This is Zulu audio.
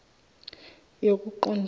yokuqondisa